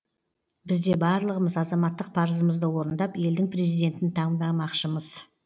бізде барлығымыз азаматтық парызымызды орындап елдің президентін таңдамақшымыз